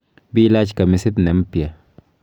Bilach kamisit ne mpya.